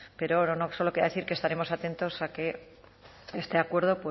pero solo quería decir que estaremos atentos a que este acuerdo